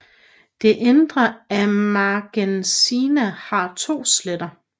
Det indre af Magnesia har to sletter